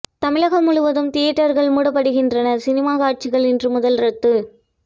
தமிழகம் முழுவதும் தியேட்டர்கள் மூடப்படுகின்றன சினிமா காட்சிகள் இன்று முதல் ரத்து